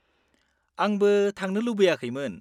-आंबो थांनो लुबैयाखैमोन।